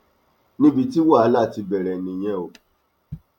níbi tí wàhálà ti bẹrẹ nìyẹn o